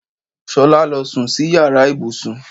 Ṣolá lọ sùn sí ìyára ibùsùn.